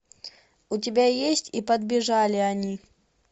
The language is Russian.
у тебя есть и подбежали они